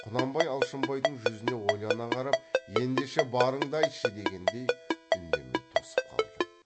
құнанбай алшынбайдың жүзіне ойлана қарап ендеше барыңды айтшы дегендей үндемей тосып қалды